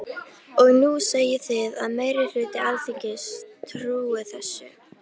Og nú segið þið að meiri hluti Alþingis trúi þessu.